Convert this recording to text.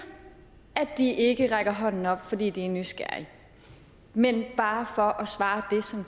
at de ikke rækker hånden op fordi de er nysgerrige men bare for at svare